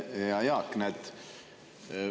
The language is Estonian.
Hea Jaak!